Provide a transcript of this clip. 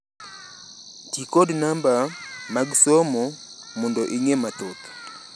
Ti kod namba mag somo mondo ing’e mathoth.